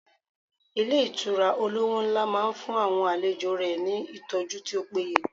Ilé Ìtura olówó nlá máa n fún àwọn àlejò rẹ̀ ní ìtọ́jú tí ó péye